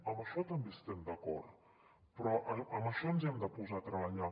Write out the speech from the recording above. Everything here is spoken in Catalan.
en això també hi estem d’acord en això ens hi hem de posar a treballar